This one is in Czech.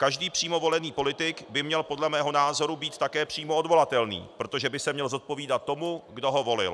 Každý přímo volený politik by měl podle mého názoru být také přímo odvolatelný, protože by se měl zodpovídat tomu, kdo ho volil.